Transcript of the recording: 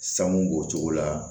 Sanu b'o cogo la